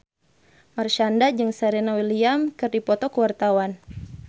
Marshanda jeung Serena Williams keur dipoto ku wartawan